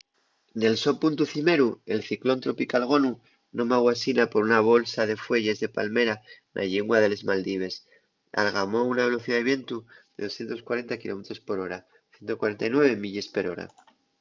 nel so puntu cimeru el ciclón tropical gonu nomáu asina por una bolsa de fueyes de palmera na llingua de les maldives algamó una velocidá de vientu de 240 kilómetros per hora 149 milles per hora